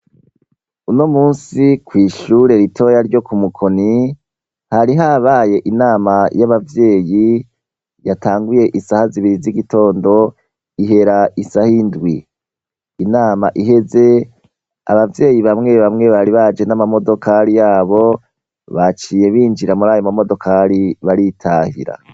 Uno munsi kw'ishure ritoya ryo ku Mukoni hari habaye inama y'abavyeyi yatanguye isaha zibiri z'igitondo ihera isaha indwi, inama iheze abavyeyi bamwe bamwe bari baje n'amamodokari yabo baciye binjira muri ayo mamodokari baritahira.